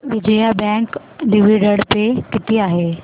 Vijaya bank dividend pay किती आहे